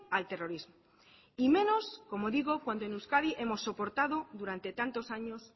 al terrorismo y menos como digo cuando en euskadi hemos soportado durante tantos años